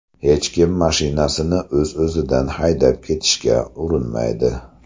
Hech kim mashinasini o‘z-o‘zidan haydab ketishga urinmaydi.